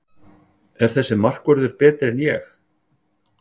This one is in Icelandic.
Er þessi markvörður betri en Ég?